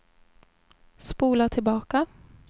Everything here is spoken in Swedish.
spola tillbaka